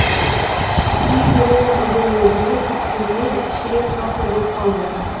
үй береміз деген уәдені күткеніме ширек ғасыр боп қалды